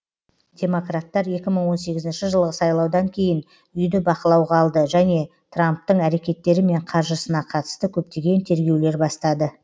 демократтар екі мың он сегізінші жылғы сайлаудан кейін үйді бақылауға алды және трамптың әрекеттері мен қаржысына қатысты көптеген тергеулер бастады